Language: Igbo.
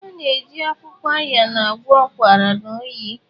A na-eji akwụkwọ Ayan agwọ ụkwara na oyi.